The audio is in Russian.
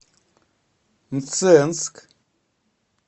мценск